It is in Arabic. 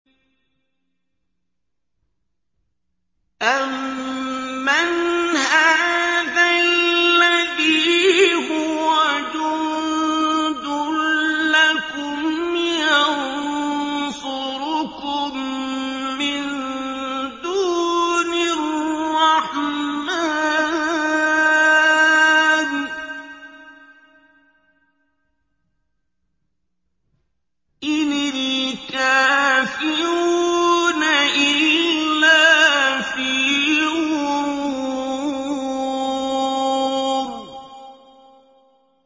أَمَّنْ هَٰذَا الَّذِي هُوَ جُندٌ لَّكُمْ يَنصُرُكُم مِّن دُونِ الرَّحْمَٰنِ ۚ إِنِ الْكَافِرُونَ إِلَّا فِي غُرُورٍ